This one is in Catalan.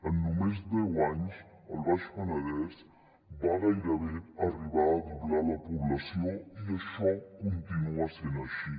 en només deu anys el baix penedès va gairebé arribar a doblar la població i això continua sent així